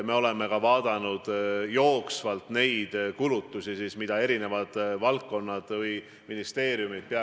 Me oleme vaadanud jooksvalt kulutusi, mida eri valdkonnad või ministeeriumid peavad tegema.